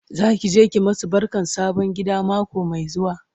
Zaki je ki masu barkan sabon gida mako Mai zuwa?